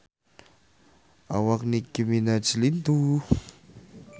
Awak Nicky Minaj lintuh